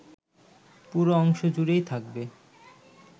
পুরো অংশ জুড়েই থাকবে